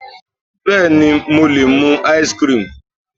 Bẹ́ẹ̀ni mo lè mú ice cream